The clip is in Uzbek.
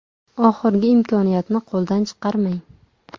Oxirgi imkoniyatni qo‘ldan chiqarmang!